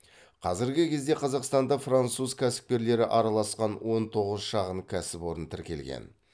қазіргі кезде қазақстанда француз кәсіпкерлері араласқан он тоғыз шағын кәсіпорын тіркелген